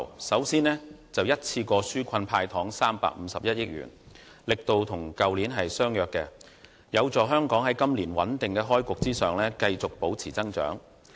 首先，他一次過紓困"派糖 "351 億元，力度與去年相若，有助香港在今年穩定開局之餘繼續保持增長。